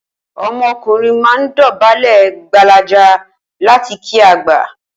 O̩mo̩kùnrin máa ń dò̩bálè̩ gbalaja láti kí àgbà